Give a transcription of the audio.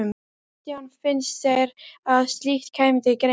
Kristján: Finnst þér að slíkt kæmi til greina?